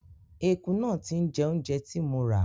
Ẹku náà ti ń jẹ oúnjẹ tí mo rà.